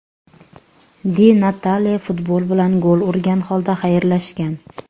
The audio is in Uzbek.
Di Natale futbol bilan gol urgan holda xayrlashgan.